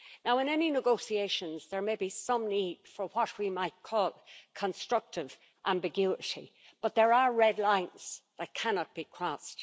In any negotiations, there may be some need for what we might call constructive ambiguity, but there are red lines that cannot be crossed.